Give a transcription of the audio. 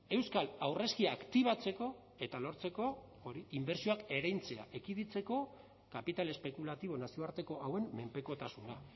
euskal aurrezkia aktibatzeko eta lortzeko hori inbertsioak ereintzea ekiditeko kapital espekulatibo nazioarteko hauen menpekotasuna